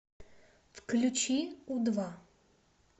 включи у два